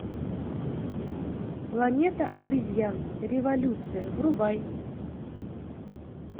планета обезьян революция врубай